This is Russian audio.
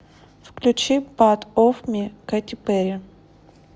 включи пат оф ми кэти пэрри